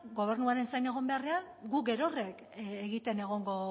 gobernuaren zain egon beharrean guk gerok egiten egongo